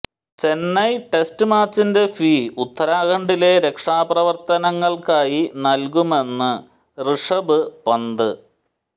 ചെന്നൈ ടെസ്റ്റിന്റെ match fee ഉത്തരാഖണ്ഡിലെ രക്ഷാപ്രവര്ത്തനങ്ങള്ക്കായി നല്കുമെന്ന് ഋഷഭ് പന്ത്